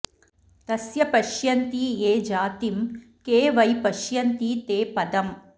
तस्य पश्यन्ति ये जातिं खे वै पश्यन्ति ते पदम्